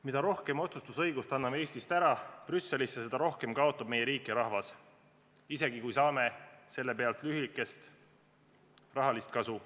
Mida rohkem otsustusõigust anname Eestist ära Brüsselisse, seda rohkem kaotab meie riik ja rahvas, isegi kui saame selle pealt lühiaegset rahalist kasu.